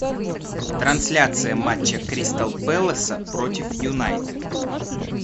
трансляция матча кристал пэласа против юнайтед